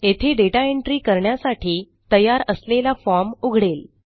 येथे दाता एंट्री करण्यासाठी तयार असलेला फॉर्म उघडेल